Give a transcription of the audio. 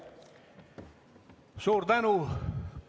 Suur tänu!